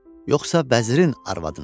yoxsa bəzirin arvadınamı?